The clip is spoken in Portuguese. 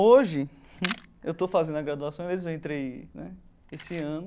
Hoje, eu estou fazendo a graduação, eu entrei né esse ano.